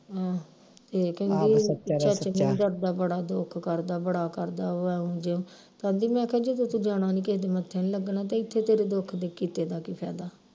ਆਹ ਤੇ ਕਹਿੰਦੀ ਚਰਚ ਨੀ ਜਾਂਦਾ ਬੜਾ ਦੁੱਖ ਕਰਦਾ ਬੜਾ ਕਰਦਾ ਉਹ ਇਉ ਜਿਉ ਤੇ ਆਂਦੀ ਮੈਂ ਕਿਹਾ ਜਦੋਂ ਤੂੰ ਜਾਣਾ ਨੀ ਕਿਹੇ ਦੇ ਮੱਥੇ ਨਹੀਂ ਤੇ ਇਥੇ ਤੇਰੇ ਦੁੱਖ ਦੇ ਕੀਤੇ ਦਾ ਕੀ ਫਾਇਦਾ